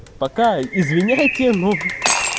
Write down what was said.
пока извиняйте ну